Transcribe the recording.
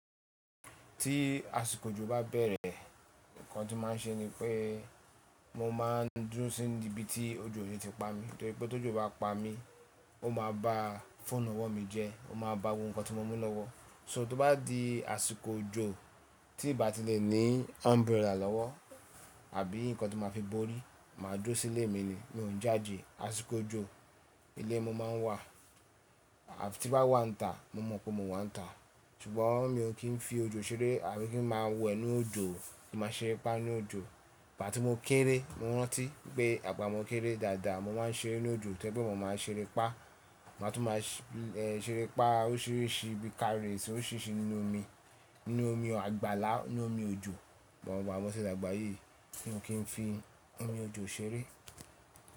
Tí àsìkò òjò bá bẹ̀rẹ̀, nǹkan tí màá n ṣe ni pé mo máa n dúró sí ibi tí òjò oni ti pa mi. Torí pé tó jù bá pa mí, ó máa ba fóònù ọwọ́ mi jẹ, ó máa ba gbogbo ohun kan tí mo mú lọ́wọ́. So tó bá di àsìkò òjò tí ì bá ti lè ní umbrella lọ́wọ́ àbí nǹkan tí màá fi borí, màá dúró sílé mi ni, mi ò ń jáde àsìkò òjò. Ilé mo máa ń wà àfi ti bá wà níta, mo mọ̀ pé mo wà níta ṣùgbọ́n mi ò kí n fi òjò ṣeré àbí kí n máa wẹ ninú òjò kí ma ṣeré pá nínú òjò. Ìgbà tí mo kéré, mo rántí pé àgbà mi ó kéré dáadáa, mo máa ń ṣeré nínú òjò tẹ́gbọn, mo máa ń ṣeré pá, màá tún máa ṣeré pá órisirisi bí i car race, órisirisi nínú omi, nínú omi àgbàlá nínú omi òjò. Ìgbà moti dá gbà yìí mio kí n fi omi òjò ṣeré.